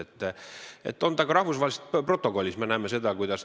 See on nii ka rahvusvahelise protokolli järgi.